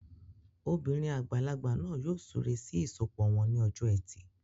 Obìnrin àgbàlagbà náà yóò súre sí ìsọpọ̀ wọn ní ọjọ́ ẹtì